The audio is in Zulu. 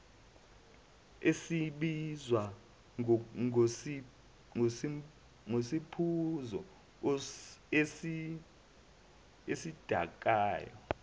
esibizwa ngesiphuzo esidakayo